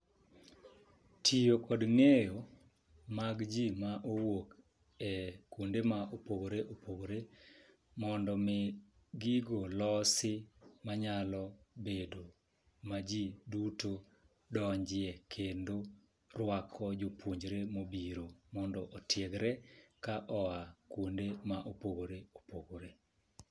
Tiyo kod ng'eyo mag jii ma owuok e kuonde ma opogore opogore mondo mi gigo olosi manyalo bedo ma jii duto donjie kendo rwako jopuonjre mobiro mondo otiegre ka oya kuonde mopogore opogore.